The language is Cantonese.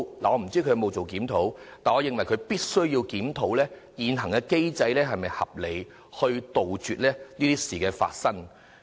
我不知道當局有否檢討，但我認為當局必須檢討現行機制是否合理，以杜絕同類事件重演。